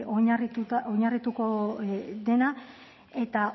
oinarrituko dena eta